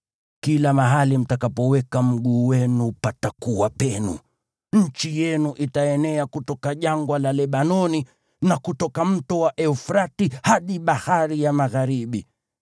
Kila mahali mtakapoweka mguu wenu patakuwa penu: Nchi yenu itaenea kutoka jangwa la Lebanoni, na kutoka mto wa Frati hadi bahari ya magharibi